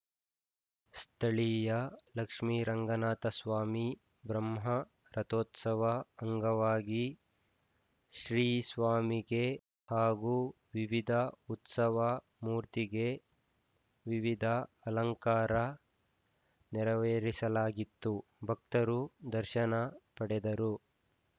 ಸ್ಥಳೀಯ ಲಕ್ಷ್ಮಿರಂಗನಾಥಸ್ವಾಮಿ ಬ್ರಹ್ಮ ರಥೋತ್ಸವ ಅಂಗವಾಗಿ ಶ್ರೀ ಸ್ವಾಮಿಗೆ ಹಾಗು ವಿವಿಧ ಉತ್ಸವ ಮೂರ್ತಿಗೆ ವಿವಿಧ ಅಲಂಕಾರ ನೆರವೇರಿಸಲಾಗಿತ್ತು ಭಕ್ತರು ದರ್ಶನ ಪಡೆದರು